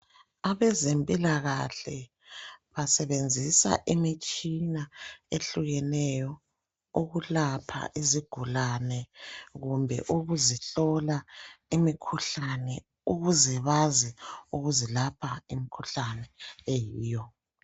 Abezempilakahle basebenzisa imitshina ehlukeneyo, ukulapha izigulane, kumbe ukuzihlola imikhuhlane, Ukuze bazi ukuzilapha imikhuhlane eyiyo.